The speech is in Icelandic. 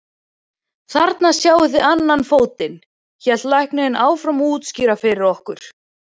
Þarna sjáið þið annan fótinn, hélt læknirinn áfram að útskýra fyrir okkur.